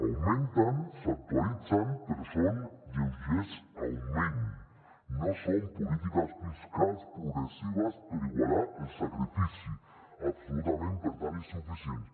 augmenten s’actualitzen però són lleugers augments no són polítiques fiscals progressives per igualar el sacrifici absolutament per tant insuficients